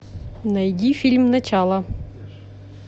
найди фильм начало